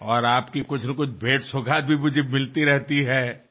మీరు ఎప్పుడూ పంపించే ఏవో ఒక బహుమతులు నాకు అందుతూ ఉంటాయి